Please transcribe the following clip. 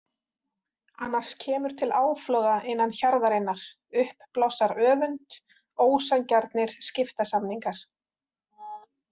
Annars kemur til áfloga innan hjarðarinnar, upp blossar öfund, ósanngjarnir skiptasamningar.